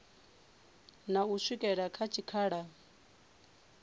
na u swikela kha tshikhala